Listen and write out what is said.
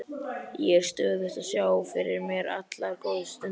Ég er stöðugt að sjá fyrir mér allar góðu stundirnar.